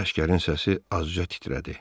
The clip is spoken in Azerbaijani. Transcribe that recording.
Əsgərin səsi azca titrədi.